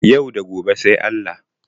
Yau da gobe sai Allah.